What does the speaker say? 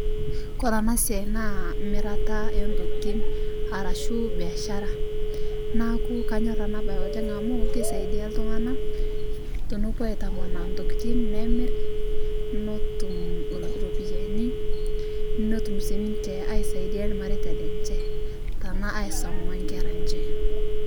Kore ana siai naa miiraata entokitin arashu beeshara. Naaku kanyoor ena bayi oleng amu keisaidia ltung'ana tenopoo aitamanaa ntokitin neemiir. Notuum ropiani notuum sii ninchee aisaidian lmarieta lenchee tana aisoma nkeraa enchee.